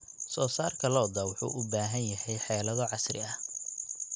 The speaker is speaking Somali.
Soosaarka lo'da lo'da wuxuu u baahan yahay xeelado casri ah.